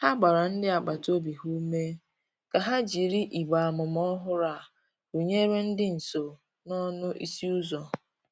Ha gbara ndi agbata obi ha ume ka ha jịrị igbe amụma ọhụrụ a rụnyere di nso n'ọnụ ịsị uzọ.